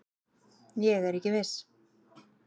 Ég er ekki viss.